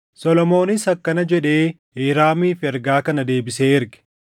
Solomoonis akkana jedhee Hiiraamiif ergaa kana deebisee erge: